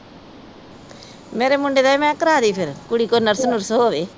ਮੇਰੇ ਮੁੰਡੇ ਦਾ ਵੀ ਮੈ ਕਿਹਾ ਕਰਾਦੇ ਫਿਰ ਕੁੜੀ ਕੋਈ ਨਰਸ ਨੁਰਸ ਹੋਵੇ।